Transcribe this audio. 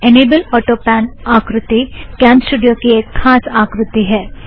enable autopan आकृती CamStudio की एक खास आकृती है